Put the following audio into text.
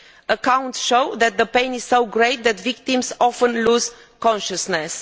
Accounts show that the pain is so great that victims often lose consciousness.